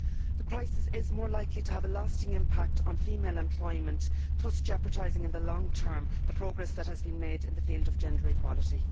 The crisis is more likely to have a lasting impact on female employment, thus jeopardising in the long term the progress which has been made in the field of gender equality.